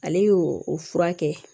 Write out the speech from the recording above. Ale y'o fura kɛ